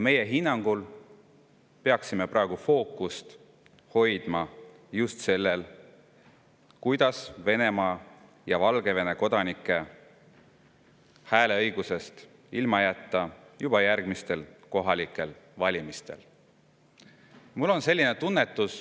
Meie hinnangul peaksime praegu fookust hoidma just sellel, kuidas Venemaa ja Valgevene kodanikke juba järgmistel kohalikel valimistel hääleõigusest ilma jätta.